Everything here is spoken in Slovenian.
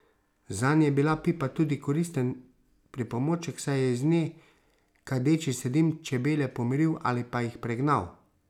Zanj je bila pipa tudi koristen pripomoček, saj je iz nje kadeči se dim čebele pomiril ali pa jih pregnal.